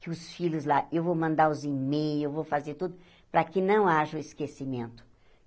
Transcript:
Que os filhos lá, eu vou mandar os e-mails, eu vou fazer tudo para que não haja o esquecimento.